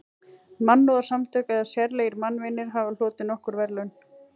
Mannúðarsamtök eða sérlegir mannvinir hafa hlotið nokkur verðlaun.